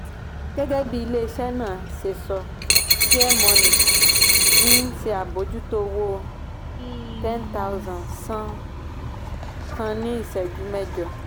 gẹ́gẹ́ bí ilé-iṣẹ́ náà ṣe sọ fairmoney ń ṣe àbójútó owó 10000 san kan ní ìṣẹ́jú mẹ́jọ.